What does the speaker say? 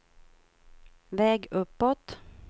väg uppåt